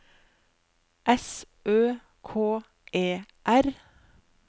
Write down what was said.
S Ø K E R